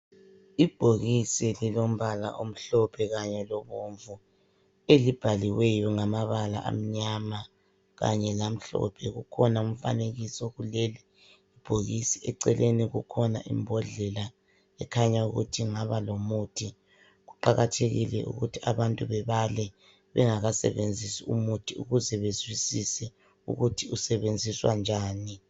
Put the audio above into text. Ibhokisi lilombala omhlophe kanye lobomvu elibhaliweyo ngamabala amnyama kanYe lamhlophe kukhona umfanekiso kuleli bhokisi eceleni kukhona imbodlela ekhanya ukuthi inhana lomuthi kuqakathekile ukuthi abantu bebale bengakasebenzisi umuthi ukuze bezwisise ukuthi usebenzisa njani